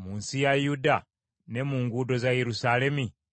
mu nsi ya Yuda ne mu nguudo za Yerusaalemi?